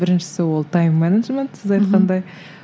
біріншісі ол тайм менеджмент сіз айтқандай